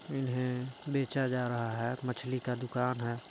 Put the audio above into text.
इन्हें बेचा जा रहा है मछली का दुकान हैं।